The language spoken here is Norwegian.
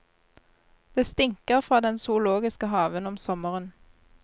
Det stinker fra den zoologiske haven om sommeren.